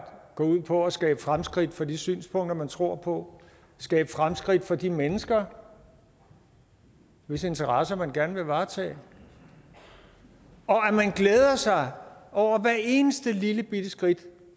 går ud på at skabe fremskridt for de synspunkter man tror på skabe fremskridt for de mennesker hvis interesser man gerne vil varetage og at man glæder sig over hver eneste lillebitte skridt